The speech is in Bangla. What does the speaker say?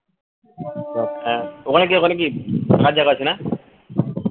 ওখানে কি ওখানে কি থাকার জায়গা আছে না